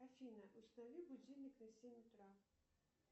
афина установи будильник на семь утра